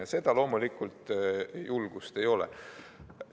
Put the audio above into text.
Ja seda julgust loomulikult ei ole.